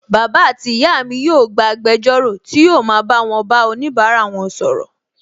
Bàbá àti ìyá mi yóò gba agbẹjọ́rò tí yóò ma bá wọn bá onibara wọn sọ̀rọ̀